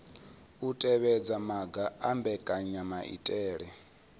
u tevhedza maga a mbekanyamaitele